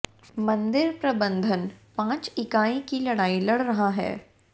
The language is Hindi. मंदिर प्रबंधन पांच इकाई की लड़ाई लड़ रहा है